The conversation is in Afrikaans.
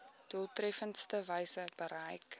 doeltreffendste wyse bereik